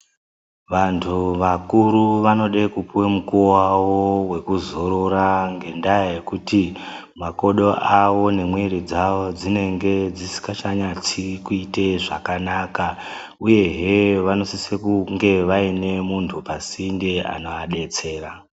Vantu vakuru vanode kupuwe mukuwo wavo wekuzorora ngendaa yekuti makodo avo nemwiiri dzavo dzinenge dzisikachanyatsi kuite zvakanaka. Uyehe vanosise kunge vaine muntu pasinde, anoadetsera.